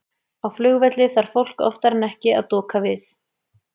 Á flugvelli þarf fólk oftar en ekki að doka við.